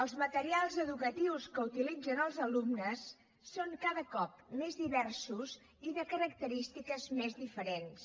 els materials educatius que utilitzen els alumnes són cada cop més diversos i de característiques més diferents